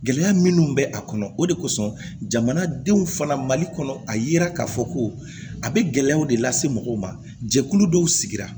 Gɛlɛya minnu bɛ a kɔnɔ o de kosɔn jamanadenw fana mali kɔnɔ a yira k'a fɔ ko a bɛ gɛlɛyaw de lase mɔgɔw ma jɛkulu dɔw sigi